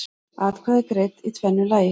Atkvæði greidd í tvennu lagi